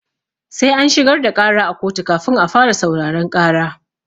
Sai an shigar da ƙara a koto kafin a fara sauraron ƙara.